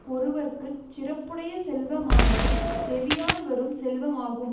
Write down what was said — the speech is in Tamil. ஒருவர்க்கு சிறப்புடைய செல்வமானது செவியால் வரும் செல்வமாகும்